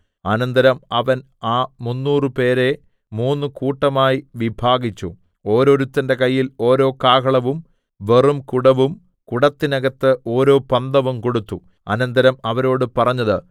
അനന്തരം അവൻ ആ മുന്നൂറുപേരെ മൂന്നു കൂട്ടമായി വിഭാഗിച്ചു ഓരോരുത്തന്റെ കയ്യിൽ ഓരോ കാഹളവും വെറും കുടവും കുടത്തിന്നകത്തു ഓരോ പന്തവും കൊടുത്തു അനന്തരം അവരോടു പറഞ്ഞത്